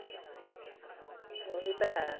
ਉਹੀ ਤਾਂ ਹੈ